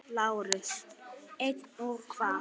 LÁRUS: Eins og hvað?